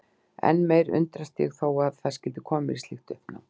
Enn meir undrast ég þó að það skyldi koma mér í slíkt uppnám.